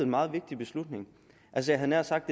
meget vigtig beslutning jeg havde nær sagt